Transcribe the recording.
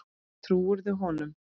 Trúirðu honum?